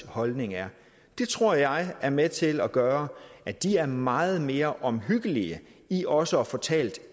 holdninger er det tror jeg er med til at gøre at de er meget mere omhyggelige i også at få talt